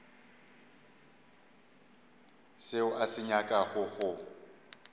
seo a se nyakago go